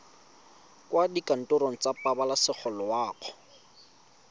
kwa dikantorong tsa pabalesego loago